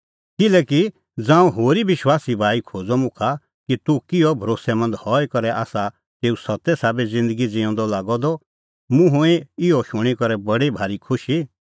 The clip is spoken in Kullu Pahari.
किल्हैकि ज़ांऊं होरी विश्वासी भाई खोज़अ मुखा कि तूह किहअ भरोस्सैमंद हई करै आसा तेऊ सत्ते साबै ज़िन्दगी ज़िऊंदअ मुंह हुई इहअ शूणीं करै बडी भाई खुशी